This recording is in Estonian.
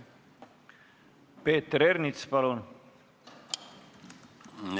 Peeter Ernits, palun!